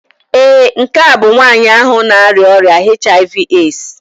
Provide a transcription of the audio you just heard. Ee, nke a bụ nwanyị ahụ na-arịa ọrịa HIV/AIDS